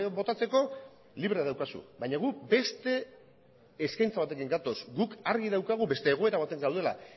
botatzeko libre daukazu baina guk beste eskaintza batekin gatoz guk argi daukagu beste egoera batean gaudela